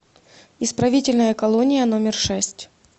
исправительная колония номер шесть